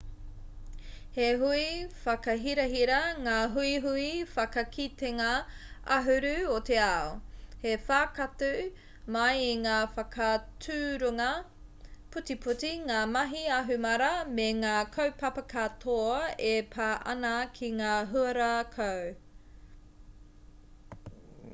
he hui whakahirahira ngā huihui whakakitenga ahuru o te ao he whakaatu mai i ngā whakaaturanga putiputi ngā mahi ahumāra me ngā kaupapa katoa e pā ana ki ngā huarākau